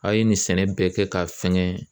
A' ye nin sɛnɛ bɛɛ kɛ ka fɛngɛ